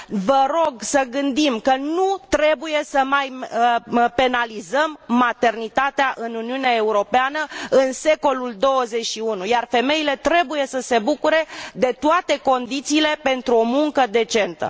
Vă rog să gândim că nu trebuie să mai penalizăm maternitatea în Uniunea Europeană în secolul 21, iar femeile trebuie să se bucure de toate condițiile pentru o muncă decentă.